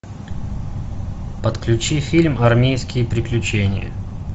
подключи фильм армейские приключения